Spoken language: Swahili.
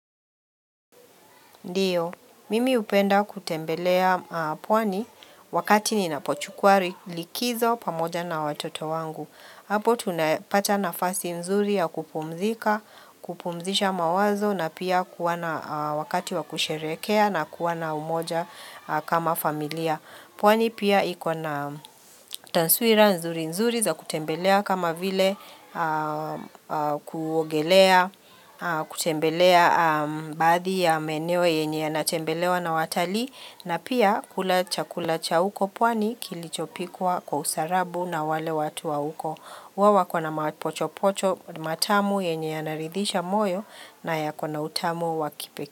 Ndiyo, mimi upenda kutembelea pwani wakati ninapochukua likizo pamoja na watoto wangu. Hapo tunapata nafasi nzuri ya kupumzika, kupumzisha mawazo na pia kuwana wakati wa kusherekea na kuwana umoja kama familia. Pwani pia ikona tansuira nzuri nzuri za kutembelea kama vile kugelea, kutembelea baadhi ya maeneo yenye ya natembelewa na watalii. Na pia kulacha kulacha uko pwani kilichopikwa kwa usarabu na wale watu wa uko. Wawa kona mapocho pocho matamu yenye ya narithisha moyo na ya kona utamu wakipeke.